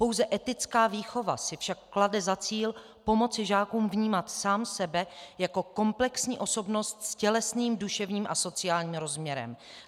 Pouze etická výchova si však klade za cíl pomoci žákům vnímat sám sebe jako komplexní osobnost s tělesným, duševním a sociálním rozměrem.